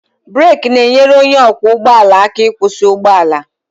Brek na-enyere onye ọkwọ ụgbọ ala aka ịkwụsị ụgbọ ala